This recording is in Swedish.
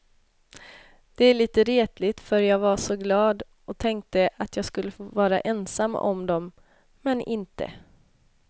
Det är lite retligt för jag var så glad och tänkte att jag skulle få vara ensam om dem, men inte.